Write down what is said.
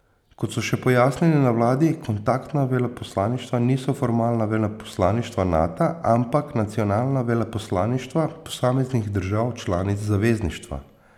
Kot so še pojasnili na vladi, kontaktna veleposlaništva niso formalna veleposlaništva Nata, ampak nacionalna veleposlaništva posameznih držav članic zavezništva.